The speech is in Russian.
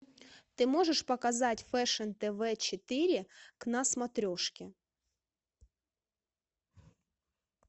ты можешь показать фэшн тв четыре на смотрешке